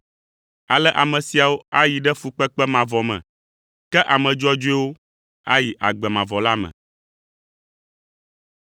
“Ale ame siawo ayi ɖe fukpekpe mavɔ me. Ke ame dzɔdzɔewo ayi agbe mavɔ la me.”